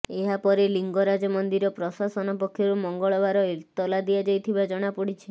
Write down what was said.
ଏହାପରେ ଲିଙ୍ଗରାଜ ମନ୍ଦିର ପ୍ରଶାସନ ପକ୍ଷରୁ ମଙ୍ଗଳବାର ଏତଲା ଦିଆଯାଇଥିବା ଜଣାପଡ଼ିଛି